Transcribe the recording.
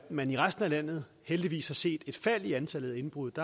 man i resten af landet heldigvis har set et fald i antallet af indbrud